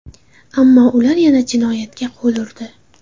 Ammo ular yana jinoyatga qo‘l urdi.